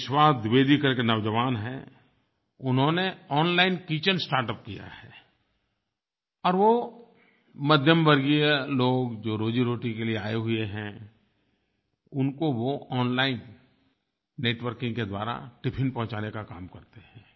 कोई विश्वास द्विवेदी करके नौजवान हैं उन्होंने ओनलाइन किचेन स्टार्टअप किया है और वो मध्यमवर्गीय लोग जो रोज़ीरोटी के लिए आये हुए हैं उनको वो ओनलाइन नेटवर्किंग के द्वारा टिफ़िन पहुँचाने का काम करते हैं